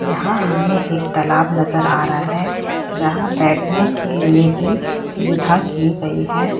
यहाँ हमें एक तालाब नजर आ रहा है जहाँ बैठने के लिए भी सुविधा की गयी है।